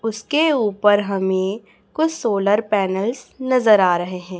उसके ऊपर हमे कुछ सोलर पैनलस नजर आ रहे है।